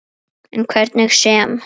En hvernig sem